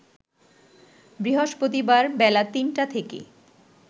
বৃহস্পতিবার বেলা ৩টা থেকে